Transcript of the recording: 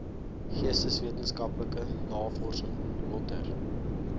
geesteswetenskaplike navorsing lötter